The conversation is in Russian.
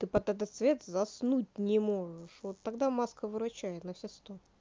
ты под этот свет заснуть не можешь вот тогда маска выручает на все сто